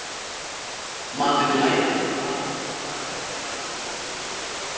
Maður lærir að tala þegar maður er krakki, sagði Heiða.